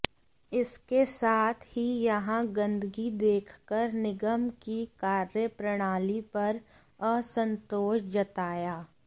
इसके साथ ही यहां गंदगी देखकर निगम की कार्य प्रणाली पर असंतोष जताया